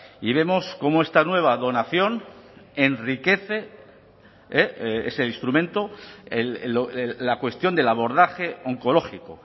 y vemos cómo esta nueva donación enriquece ese instrumento la cuestión del abordaje oncológico